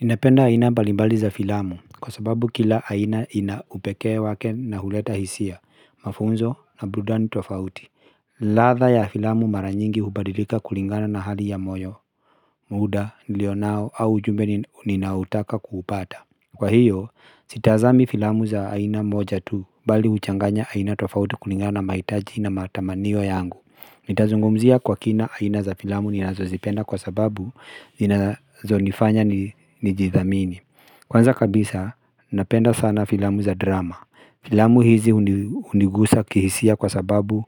Ninapenda aina mbalimbali za filamu, kwa sababu kila aina ina upekee wake na huleta hisia, mafunzo na burudani tofauti. Ladha ya filamu mara nyingi hubadilika kulingana na hali ya moyo, muda, nilionao au ujumbe ninaotaka kuupata. Kwa hiyo, sitazami filamu za aina moja tu, bali huchanganya aina tofauti kulingana na mahitaji na matamanio yangu. Nitazungumzia kwa kina aina za filamu ninazo zipenda kwa sababu ninazo nifanya nijithamini Kwanza kabisa napenda sana filamu za drama. Filamu hizi hunigusa kihisia kwa sababu